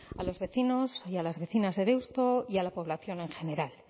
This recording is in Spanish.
a los vecinos y las vecinas de deusto y a la población en general